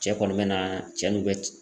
Cɛ kɔni bɛ na cɛ n'u bɛ